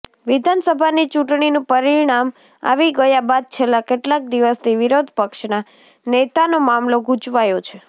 વિધાનસભાની ચૂંટણીનું પરિણામ આવી ગયા બાદ છેલ્લા કેટલાક દિવસથી વિરોધ પક્ષનાં નેતાનો મામલો ગૂંચવાયો છે